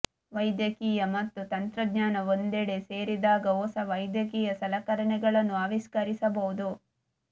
ವೈದ್ಯಕೀಯ ಮತ್ತು ತಂತ್ರಜ್ಞಾನ ಒಂದೆಡೆ ಸೇರಿದಾಗ ಹೊಸ ವೈದ್ಯಕೀಯ ಸಲಕರಣೆಗಳನ್ನು ಆವಿಷ್ಕರಿಸಬಹುದು